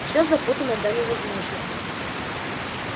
все запутано до невозможности